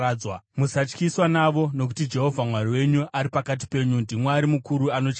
Musatyiswa navo, nokuti Jehovha Mwari wenyu, ari pakati penyu ndiMwari mukuru anotyisa.